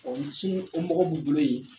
O ci o mago b'u bolo yen